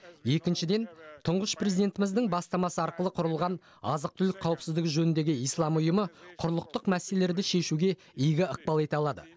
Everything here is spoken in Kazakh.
екіншіден тұңғыш президентіміздің бастамасы арқылы құрылған азық түлік қауіпсіздігі жөніндегі ислам ұйымы құрлықтық мәселелерді шешуге игі ықпал ете алады